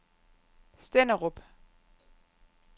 Stenderup